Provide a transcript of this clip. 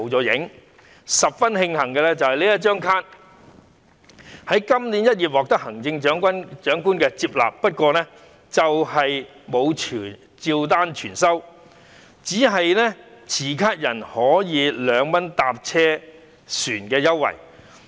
值得慶幸的是，"銀齡卡"在今年1月獲得行政長官接納，不過卻沒有照單全收，只是持卡人可獲2元乘車優惠。